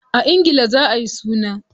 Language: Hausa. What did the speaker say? A ingila za ayi suna.